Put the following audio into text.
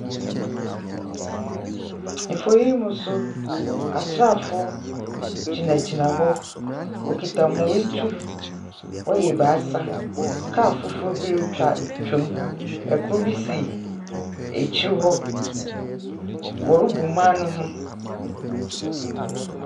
Mfonyin yi mu nso, asraafo gyinagyina hɔ. Wɔkita hɔn tu. Wɔyɛ ebaasa. Kaal fufuw bi retwa mu. Kor bi si ekyir hɔ. Wɔrobu man no ho.